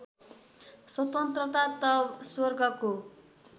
स्वतन्त्रता त स्वर्गको